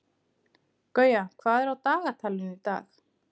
Gauja, hvað er á dagatalinu í dag?